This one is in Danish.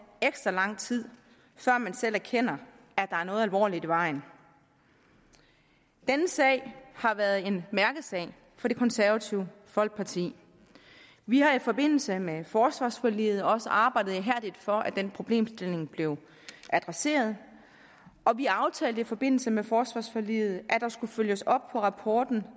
ekstra lang tid før man selv erkender at der er noget alvorligt i vejen denne sag har været en mærkesag for det konservative folkeparti vi har i forbindelse med forsvarsforliget også arbejdet ihærdigt for at den problemstilling blev adresseret og vi aftalte i forbindelse med forsvarsforliget at der skulle følges op på rapporten